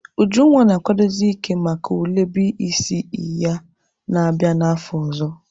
Ujunwa na-akwadozi ike maka ule BECE ya na-abịa n'afọ ọzọ.